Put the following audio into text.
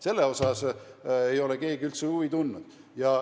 Selle kohta ei ole keegi üldse huvi tundnud.